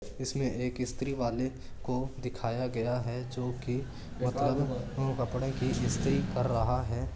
इसमें एक इस्त्री वाले को दिखाया गया है जो कि कपडे की इस्त्री कर रहा है।